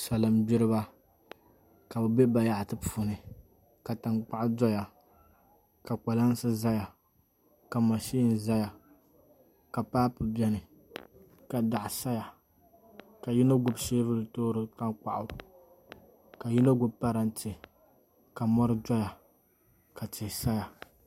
Salin gbiriba ka bi bɛ bayaɣati puuni ka kom doya ka bayaɣati doya ka mashin ʒɛya ka paapu biɛni ka daɣu saya ka yino gbubi soobuli toori tankpaɣu ka yino gbubi parantɛ ka mori doya ka tihi saya